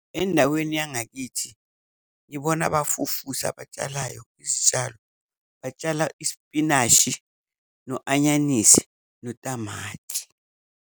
Endaweni yangakithi ngibona abafufusa abatshalayo izitshalo batshala isipinashi, no-anyanisi, notamati.